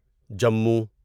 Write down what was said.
Jammu